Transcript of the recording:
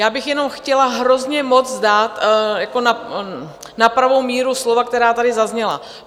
Já bych jenom chtěla hrozně moc dát na pravou míru slova, která tady zazněla.